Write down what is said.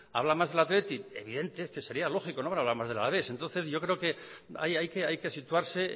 habla más del athletic evidente es que sería lógico no hablará más del alavés yo creo que hay que situarse